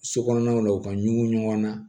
So kɔnɔnaw na u ka ɲugu ɲɔgɔn na